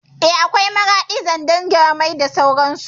Eh, akwai Maraɗi, Zandar, Nyamai da sauran su